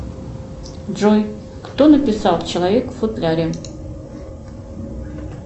джой кто написал человек в футляре